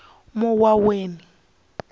muwaweni